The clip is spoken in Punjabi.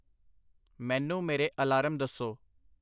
ਮੈਨੂੰ ਮੇਰੇ ਅਲਾਰਮ ਦੱਸੋ।